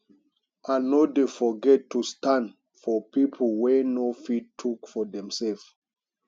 i no dey forget to stand for pipo wey no fit tok for demselves